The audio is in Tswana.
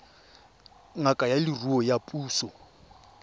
ngaka ya leruo ya puso